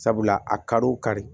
Sabula a kariw kari